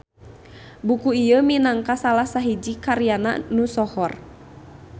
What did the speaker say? Buku ieu minangka salah sahiji karyana nu sohor.